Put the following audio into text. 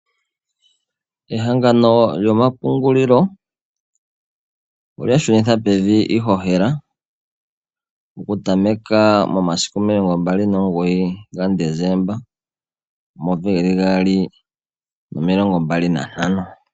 Ehangano lyomapungulilo, olya shunitha pevi iihohela. Okutameka momasiku 29 ga Desemba 2025.